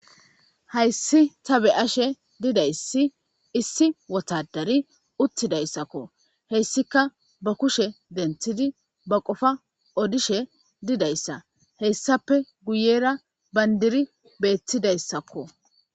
Hayssi ta be ashe didayssi issi wotadari uttidayssakko heyssika ba kushe denthidi ba qofa odishe didayssa heyssappe guyera bandiri beettidayssakko.